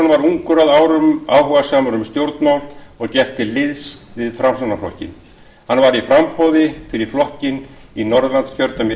varð ungur að árum áhugasamur um stjórnmál og gekk til liðs við framsóknarflokkinn hann var í framboði fyrir flokkinn í norðurlandskjördæmi